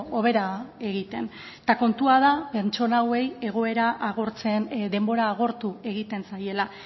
hobera egiten eta kontua da pertsona hauei denbora agortu egiten zaiela